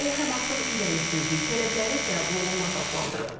O Həmasın irəli sürdüyü tələbləri qəbul olunmaz adlandırıb.